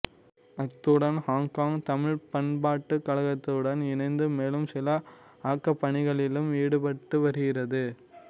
அத்துடன் ஹொங்கொங் தமிழ் பண்பாட்டுக் கழகத்துடன் இணைந்து மேலும் சில ஆக்கப்பணிகளிலும் ஈடுபட்டு வருகிறது